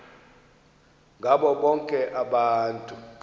ngabo bonke abantu